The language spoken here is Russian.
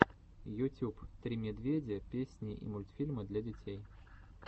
ютюб три медведя песни и мультфильмы для детей